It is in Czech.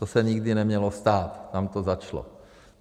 To se nikdy nemělo stát, tam to začalo.